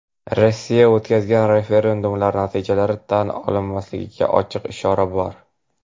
Rossiya o‘tkazgan "referendum"lar natijalari tan olinmasligiga ochiq ishora bor.